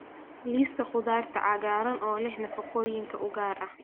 Liiska Khudaarta Cagaaran oo leh Nafaqooyinka Ugu Yar